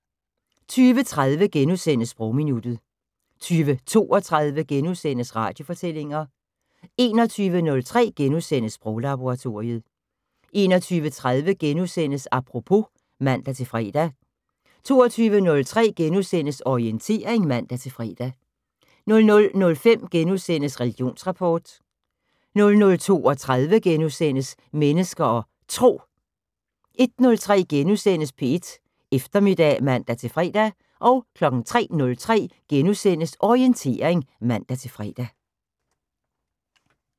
20:30: Sprogminuttet * 20:32: Radiofortællinger * 21:03: Sproglaboratoriet * 21:30: Apropos *(man-fre) 22:03: Orientering *(man-fre) 00:05: Religionsrapport * 00:32: Mennesker og Tro * 01:03: P1 Eftermiddag *(man-fre) 03:03: Orientering *(man-fre)